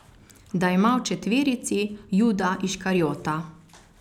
Da ima v četverici Juda Iškarijota.